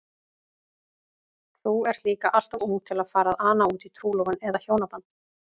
Þú ert líka alltof ung til að fara að ana útí trúlofun eða hjónaband.